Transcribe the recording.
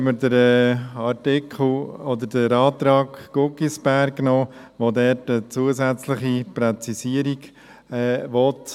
Gleichzeitig haben wir den Antrag Guggisberg, welcher eine zusätzliche Präzisierung will.